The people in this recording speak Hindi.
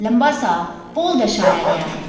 लंबा सा पोल दर्शाया गया है।